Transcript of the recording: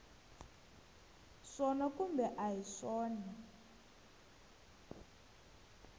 swona kumbe a hi swona